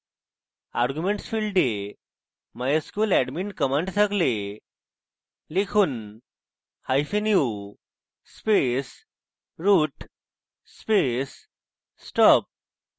arguments ফীল্ডে mysqladmin command থাকলে লিখুনu space root space stop